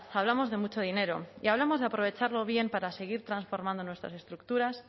hablamos de mucho dinero y hablamos de aprovecharlo bien para seguir transformando nuestras estructuras